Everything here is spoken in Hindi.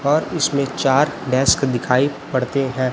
और इसमें चार डेस्क दिखाई पड़ते हैं।